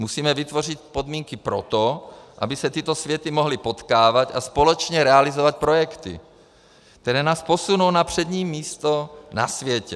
Musíme vytvořit podmínky pro to, aby se tyto světy mohly potkávat a společně realizovat projekty, které nás posunou na přední místo na světě.